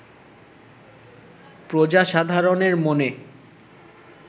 প্রজাসাধারণের মনে